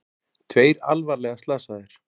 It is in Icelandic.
Tveir alvarlega slasaðir